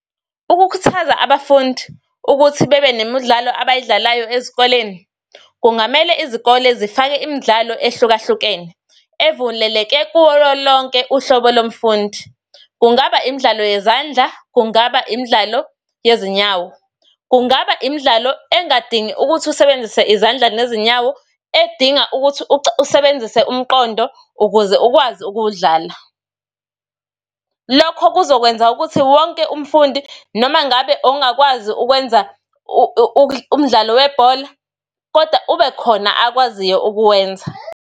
Ukukhuthaza abafundi ukuthi bebe nemidlalo abayidlalayo ezikoleni, kungamele izikole zifake imdlalo ehlukahlukene, evuleleke kulo lonke uhlobo lomfundi. Kungaba imdlalo yezandla, kungaba imdlalo yezinyawo, kungaba imdlalo engadingi ukuthi usebenzise izandla nezinyawo, edinga ukuthi usebenzise umqondo ukuze ukwazi ukuwudlala. Lokho kuzokwenza ukuthi wonke umfundi, noma ngabe ongakwazi ukwenza umdlalo webhola, kodwa ube khona akwaziyo ukuwenza.